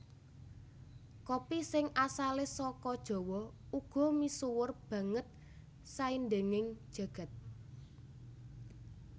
Kopi sing asalé saka Jawa uga misuwur banget saindenging jagat